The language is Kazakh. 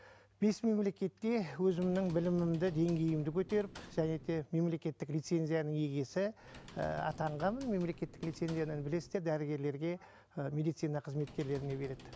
бес мемлекетте өзімнің білімімді деңгейімді көтеріп және де мемлекеттік лицензияның иегесі і атанғанмын мемлекеттік лицензияны білесіздер дәрігерлерге і медицина қызметкерлеріне береді